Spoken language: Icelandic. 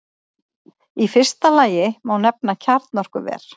Í fyrsta lagi má nefna kjarnorkuver.